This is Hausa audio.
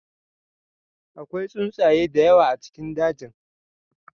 Akwai tsuntsaye da yawa a cikin dajin.